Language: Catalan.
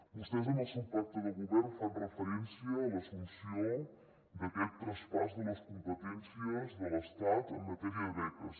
vostès en el seu pacte de govern fan referència a l’as·sumpció d’aquest traspàs de les competències de l’estat en matèria de beques